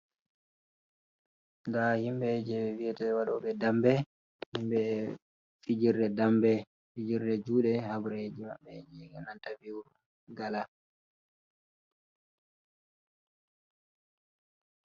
Nda himɓe je vi'ete waɗoɓe dambe. Himɓe fijirde dambe, fijirde juɗe habreji maɓɓe e'nanta vi'u gala.